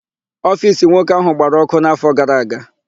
Ofiisi nwoke áhụ̀ gbara ọ́kụ́ n'áfọ gara aga.